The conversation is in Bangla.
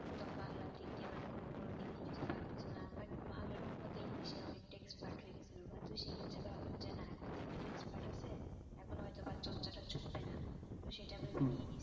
একদম বাংলার দিক দিয়ে মানে কোন কোন দিক দিয়ে কিছু পারতেছে না but আল্লাহর রহমতে english এ অনেকটা expert হয়ে গেছিল but সেক্ষেত্রে ভাবলাম যে না এখন তো english এ expert আছে এখন হয়তবা চর্চাটা ছুটবে না তো সেটা ভেবে